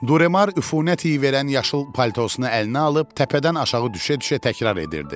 Duremar üfunət iyi verən yaşıl paltosunu əlinə alıb təpədən aşağı düşə-düşə təkrar edirdi.